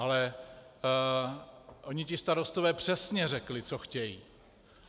Ale oni ti starostové přesně řekli, co chtějí.